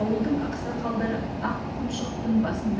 ауылдың ақсақалдары ақ құмшықтьң басында